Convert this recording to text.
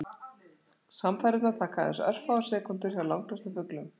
Samfarirnar taka aðeins örfáar sekúndur hjá langflestum fuglum.